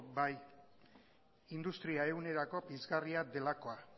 bai industria ehunera pizgarria delakoa